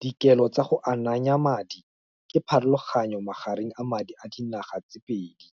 Dikelo tsa go ananya madi, ke pharologanyo magareng a madi a dinaga tse pedi,